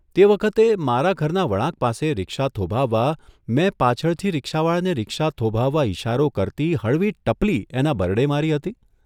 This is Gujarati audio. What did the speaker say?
તે વખતે મારા ઘરના વળાંક પાસે રિક્ષા થોભાવવા મેં પાછળથી રિક્ષાવાળાને રિક્ષા થોભાવવા ઇશારો કરતી હળવી ટપલી એના બરડે મારી હતી?